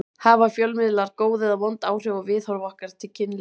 Hafa fjölmiðlar góð eða vond áhrif á viðhorf okkar til kynlífs?